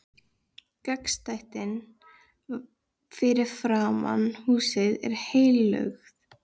Gangstéttin fyrir framan húsið er hellulögð.